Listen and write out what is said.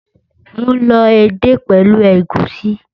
Mo lọ edé pẹ̀lú ẹ̀gúsí